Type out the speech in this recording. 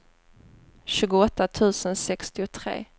tjugoåtta tusen sextiotre